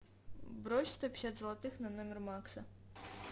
брось сто пятьдесят золотых на номер макса